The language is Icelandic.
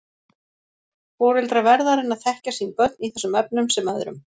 Foreldrar verða að reyna að þekkja sín börn í þessum efnum sem öðrum.